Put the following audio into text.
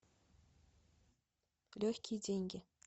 легкие деньги